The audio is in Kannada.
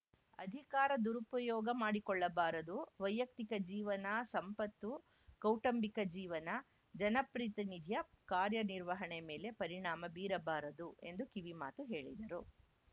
ಅಧಿಕಾರ ದುರುಪಯೋಗ ಮಾಡಿಕೊಳ್ಳಬಾರದು ವೈಯಕ್ತಿಕ ಜೀವನ ಸಂಪತ್ತು ಕೌಟಂಬಿಕ ಜೀವನ ಜನಪ್ರಿತಿನಿಧಿಯ ಕಾರ್ಯ ನಿರ್ವಹಣೆ ಮೇಲೆ ಪರಿಣಾಮ ಬೀರಬಾರದು ಎಂದು ಕಿವಿಮಾತು ಹೇಳಿದರು